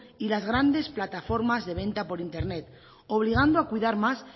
y las grandes plataformas de venta por internet obligando a cuidar más